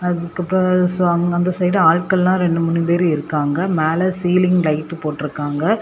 அதுக்கப்ரோ அந்த சைடு ஆட்கள்லா ரெண்டு மூணு பேர் இருக்காங்க மேல ஃசீலிங் லைட் போட்டு இருக்காங்க.